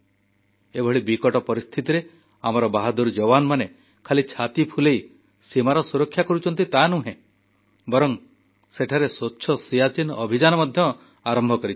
ଏଭଳି କଠିନ ପରିସ୍ଥିତିରେ ଆମର ସାହସୀ ଯବାନମାନେ କେବଳ ସଦର୍ପେ ସୀମାର ସୁରକ୍ଷା କରୁଛନ୍ତି ତାନୁହେଁ ବରଂ ସେଠାରେ ସ୍ୱଚ୍ଛ ସିଆଚୀନ୍ ଅଭିଯାନ ମଧ୍ୟ ଆରମ୍ଭ କରିଛନ୍ତି